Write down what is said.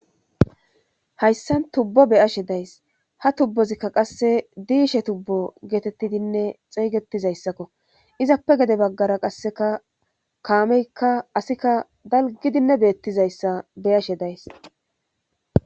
Hayssan tubbo beyashe days ha tubbozikka qasse diishe tubbo geetettidinne xeygettizayssakko izappe gede baggara qasseka kaameykka asikka dalgidinne beettizayssa beyashe days